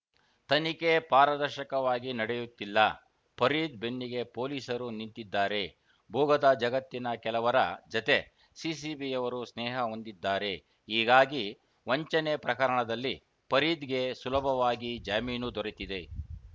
ತನಿಖೆ ಪಾರದರ್ಶಕವಾಗಿ ನಡೆಯುತ್ತಿಲ್ಲ ಫರೀದ್‌ ಬೆನ್ನಿಗೆ ಪೊಲೀಸರು ನಿಂತಿದ್ದಾರೆ ಭೂಗತ ಜಗತ್ತಿನ ಕೆಲವರ ಜತೆ ಸಿಸಿಬಿಯವರು ಸ್ನೇಹ ಹೊಂದಿದ್ದಾರೆ ಹೀಗಾಗಿ ವಂಚನೆ ಪ್ರಕರಣದಲ್ಲಿ ಫರೀದ್‌ಗೆ ಸುಲಭವಾಗಿ ಜಾಮೀನು ದೊರೆತಿದೆ